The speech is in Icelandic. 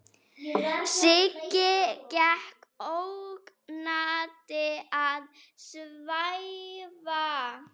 Siggi gekk ógnandi að Svenna.